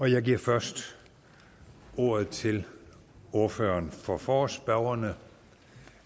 jeg giver først ordet til ordføreren for forespørgerne